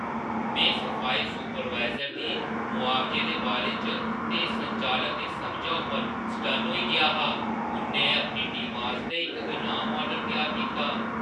में सफाई सुपरवाइज़र दी मुआवजे दे बारे च ते संचालन दी समझा उप्पर सटन्न होई गेआ हा। उʼन्नै अपनी टीमा आस्तै इक इनाम माडल त्यार कीता।